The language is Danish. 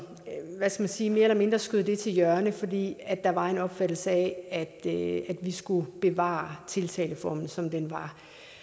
hvad skal man sige mere eller mindre skød det til hjørne fordi der var en opfattelse af at vi skulle bevare tiltaleformen som den var